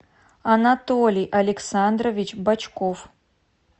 анатолий александрович бочков